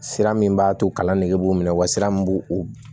Sira min b'a to kalan nege b'u minɛ wasira min b'u